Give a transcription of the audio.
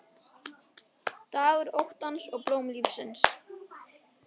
Dagur óttans og blóm lífsins